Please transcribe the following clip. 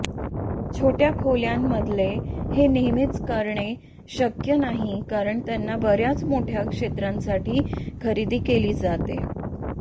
छोट्या खोल्यांमधले हे नेहमीच करणे शक्य नाही कारण त्यांना बर्याच मोठ्या क्षेत्रांसाठी खरेदी केले जाते